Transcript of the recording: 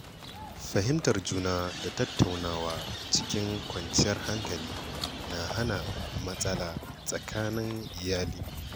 Fahimtar juna da tattaunawa cikin kwanciyar hankali na hana matsala tsakanin iyali.